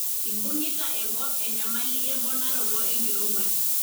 ibungita enkop enyamali emponaroto enkirowuaj.